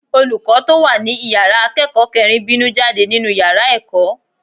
Olùkọ́ tó wà ní ìyára akẹ́kọ̀ọ́ kẹrin bínú jáde nínú yára ẹ̀kọ́.